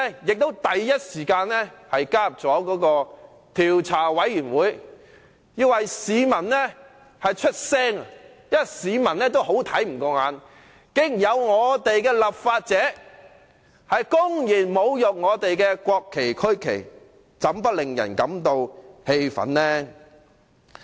調查委員會成立後我亦立即加入，為市民發聲，因為市民也看不過眼，竟然有立法者公然侮辱國旗和區旗，怎不令人感到氣憤呢？